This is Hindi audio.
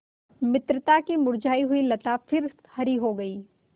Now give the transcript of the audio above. मित्रता की मुरझायी हुई लता फिर हरी हो गयी